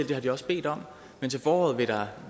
det har de også bedt om men til foråret vil der